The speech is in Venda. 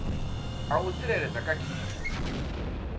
a u tsireledza kha khiyi